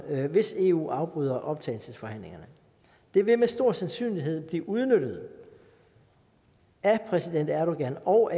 hvis eu afbryder optagelsesforhandlingerne det vil med stor sandsynlighed blive udnyttet af præsident erdogan og